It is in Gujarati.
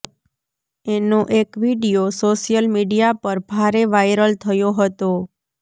એનો એક વીડિયો સોશિયલ મીડિયા પર ભારે વાયરલ થયો હતો